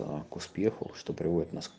к успеху что приводит нас